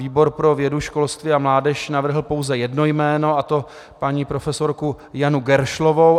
Výbor pro vědu, školství a mládež navrhl pouze jedno jméno, a to paní profesorku Janu Geršlovou.